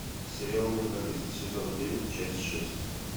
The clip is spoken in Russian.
сериал менталист сезон девять часть шесть